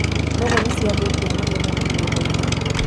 nũgũ nĩciathũkia magetha mũgũnda.